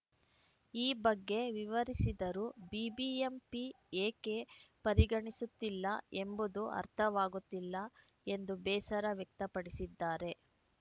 ಈ ಬಗ್ಗೆ ವಿವರಿಸಿದರೂ ಬಿಬಿಎಂಪಿ ಏಕೆ ಪರಿಗಣಿಸುತ್ತಿಲ್ಲ ಎಂಬುದು ಅರ್ಥವಾಗುತ್ತಿಲ್ಲ ಎಂದು ಬೇಸರ ವ್ಯಕ್ತಪಡಿಸಿದ್ದಾರೆ